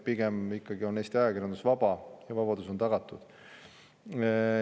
Pigem ikkagi on Eesti ajakirjandus vaba ja vabadus on tagatud.